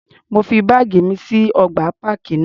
Mo fi báàgì mi sí ọgbà páàkì náà.